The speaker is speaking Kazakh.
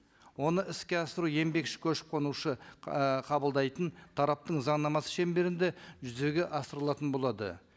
оны іске асыру еңбекші көшіп қонушы і қабылдайтын тараптың заңнамасы шеңберінде жүзеге асырылатын болады